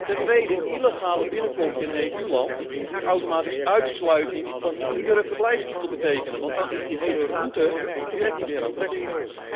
Ten tweede, illegale binnenkomst in een EU land moet automatisch uitsluiting van iedere verblijfstitel betekenen, want dan is die hele route meteen niet meer aantrekkelijk.